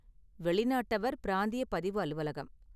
வெளிநாட்டவர் பிராந்திய பதிவு அலுவலகம்.